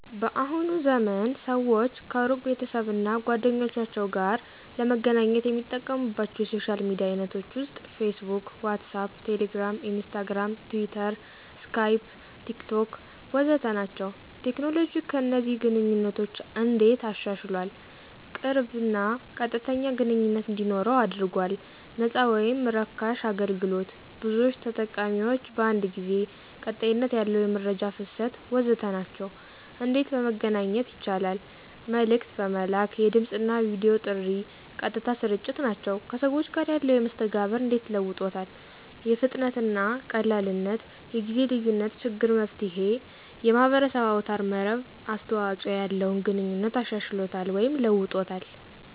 በአሁኑ ዘመን ሰዎች ከሩቅ ቤተሰብ እና ጓደኞቸው ጋር ለመገናኘት የሚጠቀሙባቻው የሶሻል ሚዲያ አይነቶች ውስጥ፦ ፌስቡክ፣ ዋትሳአፕ፣ ቴሌግራም፣ ኢንስታግርም፣ ትዊተር፣ ስካይፕ፣ ቴክቶክ... ወዘተ ናቸው። ቴክኖሎጂ ከእነዚህን ግንኘነቶች እንዴት አሻሻሏል? ቅርብ እና ቀጥተኛ ግንኝነት እንዲኖረው አድርጎል፣ ነፃ ወይም ራካሽ አገልግሎት፣ ብዙዎች ተጠቃሚዎች በአንድ ጊዜ፣ ቀጣይነት ያለው የመረጃ ፍሰት... ወዘተ ናቸው። እንዴት በመገናኛት ይቻላል? መልክት በመላክ፣ የድምፅና የቪዲዮ ጥሪ፣ ቀጥታ ስርጭት ናቸው። ከሰዎቹ ጋር ያለው መስተጋብር እንዴት ለውጦታል ? ፍጥነትና ቀላልነት፣ የጊዜ ልዪነት ችግር መፍትሔ፣ የማህበረሰብ አውታር መረብ አስተዋጽኦ ያለውን ግንኙነት አሻሽሎታል ወይም ለውጦታል።